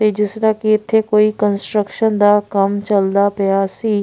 ਜਿਸ ਤਰ੍ਹਾਂ ਕਿ ਇੱਥੇ ਕੋਈ ਕੰਸਟਰਕਸ਼ਨ ਦਾ ਕੰਮ ਚਲਦਾ ਪਿਆ ਸੀ।